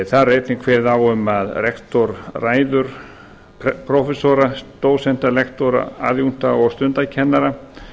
er einnig kveðið á um að rektor ræður prófessora dósenta lektora aðjúnkta og stundakennara